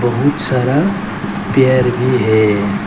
बहुत सारा पेर भी है।